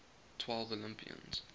twelve olympians